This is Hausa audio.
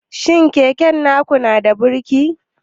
Shi keken naku yanada birki?